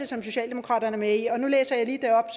som socialdemokratiet er med i og nu læser jeg lige det op